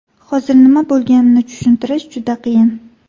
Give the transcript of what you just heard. Hozir nima bo‘lganini tushuntirish juda qiyin.